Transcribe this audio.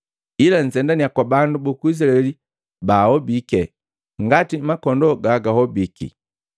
Ila nzendannya kwa bandu buku Izilaeli baobiki ngati makondoo gagahobiki.